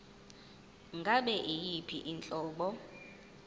ngabe yiyiphi inhlobo